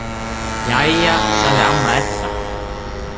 Jæja, sagði amma Edda.